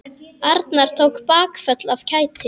Arnar tók bakföll af kæti.